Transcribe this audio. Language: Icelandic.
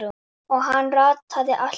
Og hann rataði alltaf.